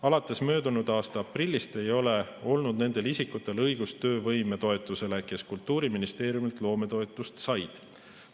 Alates möödunud aasta aprillist ei ole olnud õigust töövõimetoetusele nendel isikutel, kes Kultuuriministeeriumilt loometoetust said.